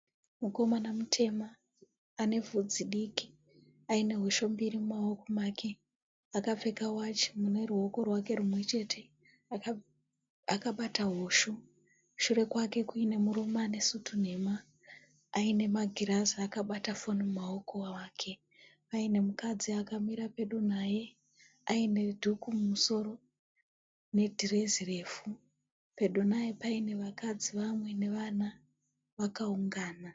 Mukomana mutema ane vhudzi diki aine hosho mbiri mumaoko make, akapfeka wachi mune ruoko rwake rumwe chete, akabata hosho shure kwake kuine murume ane sutu nhema aine magirazi akabata foni mumaoko ake, paine mukadzi akamira pedo naye aine dhuku mumusoro nedhirezi refu pedo naye paine vakadzi vamwe nevana vakaungana.